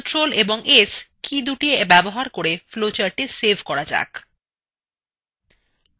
ctrl + s কীদুটি ব্যবহার করে flowchartটি save করা যায়